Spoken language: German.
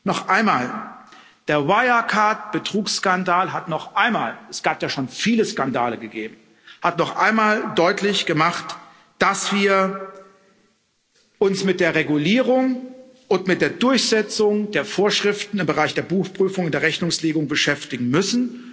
Noch einmal Der Wirecard Betrugsskandal hat noch einmal es hat ja schon viele Skandale gegeben deutlich gemacht, dass wir uns mit der Regulierung und mit der Durchsetzung der Vorschriften im Bereich der Buchprüfung und der Rechnungslegung beschäftigen müssen.